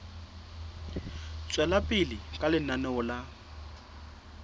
tswela pele ka lenaneo la